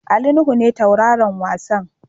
Ali Nuhu ne tauraron wasan.